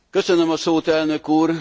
Köszönöm a szót Elnök úr!